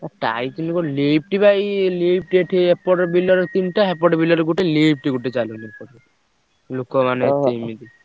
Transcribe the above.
ଓ କଣ ବା ଏଇ ଏଠି ଏପଟେ ବିଲରେ ତିନିଟା ସେପଟେ ବିଲରେ ଗୋଟେ ଗୋଟେ ଚାଲୁନି ଏପଟେ। ଲୋକ ମାନେ ଏତେ ଏମିତି।